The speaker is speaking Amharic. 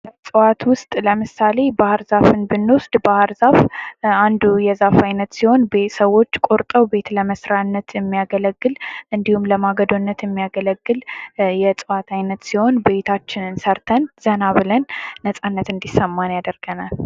ከእጽዋት ውስጥ ለምሳሌ ባህር ዛፍን ብንወስድ ባህር ዛፍ አንድ የዛፍ አይነት ሲሆን ሰዎች ቆርጠው ቤት ለመስሪያ የሚያገለግል እንዲሁም ለማገዶነት የሚያገለግል የእጽዋት አይነት ሲሆን እቤታችን ሰርተን ብለን ነጻነት እንዲሰማን ያደርገናል።